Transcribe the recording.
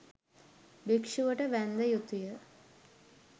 භික්‍ෂුවට වැන්ද යුතු ය.